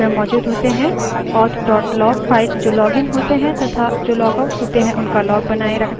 auth log file जो login होते हैं तथा जो लॉगआउट होते हैं उनका log बनाए रखता है